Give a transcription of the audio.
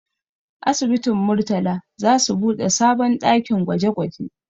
Asibitin Murtala za su buɗe sabon ɗakin gwaje gwaje